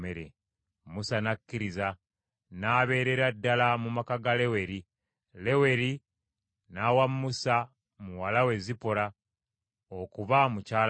Musa n’akkiriza. N’abeerera ddala mu maka ga Leweri. Leweri n’awa Musa muwala we Zipola okuba mukyala we.